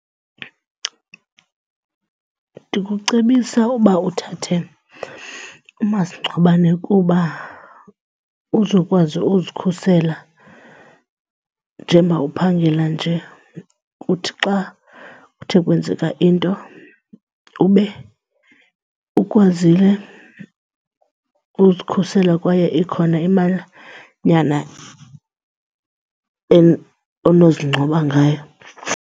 Ndikucebisa uba uthathe umasingcwabane kuba uzokwazi uzikhusela njengoba uphangela nje. Kuthi xa kuthe kwenzeka into ube ukwazile uzikhusela kwaye ikhona imalanyana onozingcwaba ngayo.